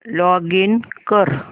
login कर